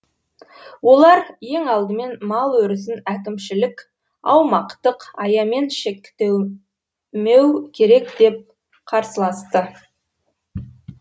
олар ең алдымен мал өрісін әкімшілік аумақтық аямен шектемеу керек деп қарсыласты